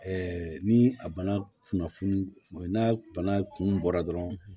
ni a bana kunnafoni n'a bana kun bɔra dɔrɔn